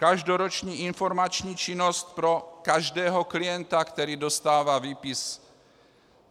Každoroční informační činnost pro každého klienta, který dostává výpis.